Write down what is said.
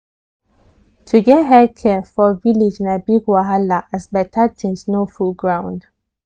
to get health care for village na big wahala as better things no full ground.